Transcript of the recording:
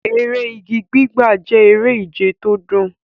Eré igi gbígbà jẹ́ eré ìje tó dùn.